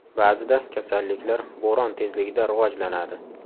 Ba’zida kasalliklar bo‘ron tezligida rivojlanadi.